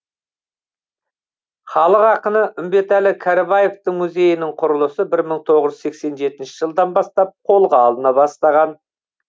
халық ақыны үмбетәлі кәрібаевтың музейінің құрылысы бір мың тоғыз жүз сексен жетінші жылдан бастап қолға алына бастаған